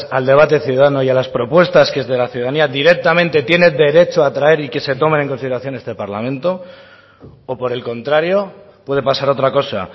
al debate ciudadano y a las propuestas que desde la ciudadanía directamente tiene derecho a traer y que se tomen en consideración este parlamento o por el contrario puede pasar otra cosa